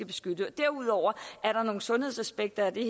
beskytte og derudover er der nogle sundhedsaspekter ved